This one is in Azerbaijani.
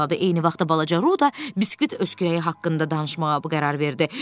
Eyni vaxtda balaca Ru da biskvit öşkürəyi haqqında danışmağa bu qərar verdi.